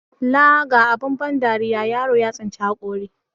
Laa ga abun dariya, yaro ya tsinci haƙori.